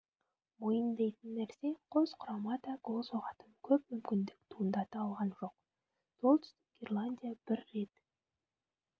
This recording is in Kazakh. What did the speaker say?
мойындайтын нәрсе қос құрама да гол соғатын көп мүмкіндік туындата алған жоқ солтүстік ирландия бір рет